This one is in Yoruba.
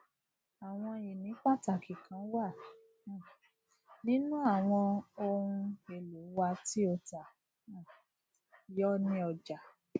àwọn ìní pàtàkì kan wà um nínú àwọn ohun èlò wa tí ó ta um yọ ní ọjà